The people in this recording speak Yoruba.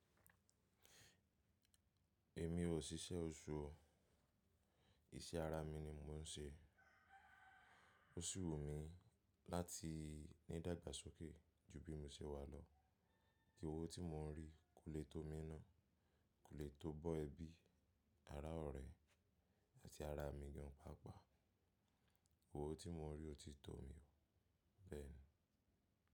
Èmi ò ṣíṣẹ́ oṣù o. Iṣẹ́ ara mi ni mò ń ṣe. O si wù mí láti ní dàgbà sókè jù bí mo se wà lọ. Kí owó tí mò ń rí kò lè tó mi ná, kò lè tó bọ́ ẹbí, ará ọ̀rẹ́ àti ará mi gan pàápàá. Owó tí mò ń rí o ti tó mi, bẹ́ẹ̀ni.